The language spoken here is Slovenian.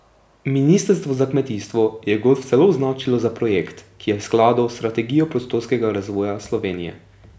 Ministrstvo za kmetijstvo je golf celo označilo za projekt, ki je v skladu s strategijo prostorskega razvoja Slovenije.